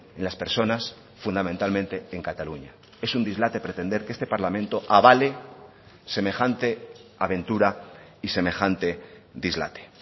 en las personas fundamentalmente en cataluña es un dislate pretender que este parlamento avale semejante aventura y semejante dislate